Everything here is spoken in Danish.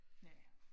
Ja